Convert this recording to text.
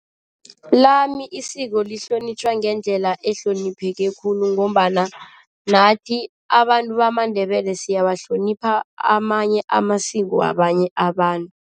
Lami isiko lihlonitjhwa ngendlela ehlonipheke khulu ngombana nathi abantu bamaNdebele siyawahlonipha amanye amasiko wabanye abantu.